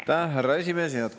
Aitäh, härra esimees!